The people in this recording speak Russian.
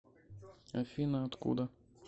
афина откуда